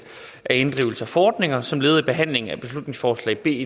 af inddrivelse af fordringer som led i behandlingen af beslutningsforslag b